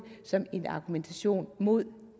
som en argumentation imod